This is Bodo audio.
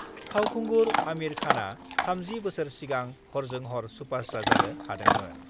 फावखुंगुर आमिर खानआ 30 बोसोर सिगां हरजों हर सुपारस्टार जानो हादोंमोन